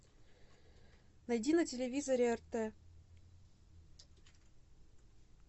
найди на телевизоре рт